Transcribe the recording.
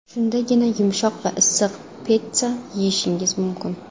Shundagina, yumshoq va issiq pitssa yeyishingiz mumkin.